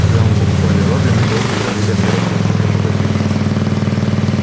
когда мы покупали робби мы долго говорили о первом законе робототехники